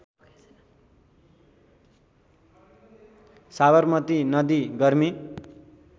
साबरमती नदी गर्मी